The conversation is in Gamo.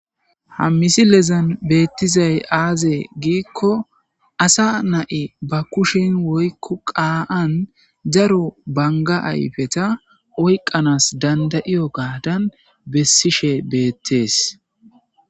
Ha misilezan betizayi azee gikko asa nai baa kushshe woyikko qaani daro banigga ayippete oyqanassi danidaiyogadani besishshe bettees